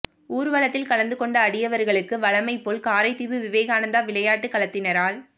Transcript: ஊர்வலத்தில் கலந்து கொண்ட அடியவர்களுக்கு வழமை போல் காரைதீவு விவேகானந்தா விளையாட்டு கழகத்தினரால்